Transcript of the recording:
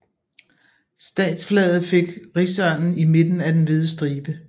Statsflaget fik rigsørnen i midten af den hvide stribe